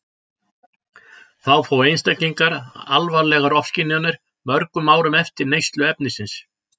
Þá fá einstaklingar alvarlegar ofskynjanir mörgum árum eftir neyslu efnisins.